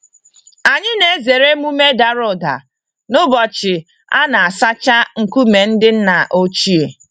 Anyị na-ezere emume dàrà ụda n'ụbọchị a na-asacha nkume ndị nna ochie.